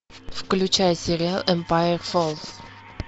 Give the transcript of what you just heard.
включай сериал эмпайр фоллс